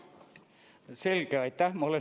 Selge, aitäh!